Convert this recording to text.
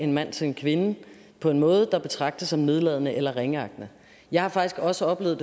en mand til en kvinde på en måde der betragtes som nedladende eller ringeagtende jeg har faktisk også oplevet og